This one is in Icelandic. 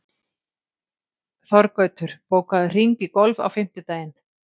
Þorgautur, bókaðu hring í golf á fimmtudaginn.